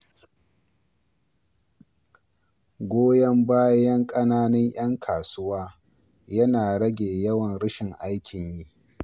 Goyon bayan ƙananan ‘yan kasuwa yana rage yawan rashin aikin yi.